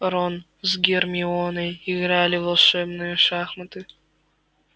рон с гермионой играли в волшебные шахматы